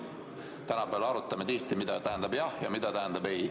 Viimasel ajal me arutame ju tihti, mida tähendab "jah" ja mida tähendab "ei".